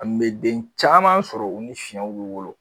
An be den caman sɔrɔ; u ni fiɲɛw bi wolo.